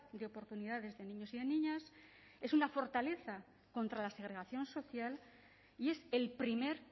de oportunidades de niños y niñas es una fortaleza contra la segregación social y es el primer